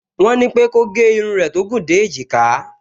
Wọ́n ní pé kó gẹ irun rẹ̀ tó gùn dé èjìká